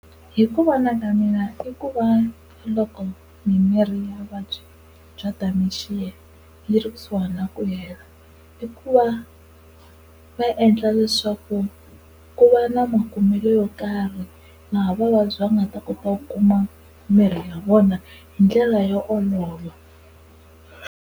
Hi ku vona ka mina i ku va loko mina ni ri na vuvabyi bya Dementia ni ri kusuhani na ku hela i ku va va endla leswaku ku va na makumelo mo karhi laha vavabyi va nga ta kota ku kuma mirhi ya vona hi ndlela yo olova.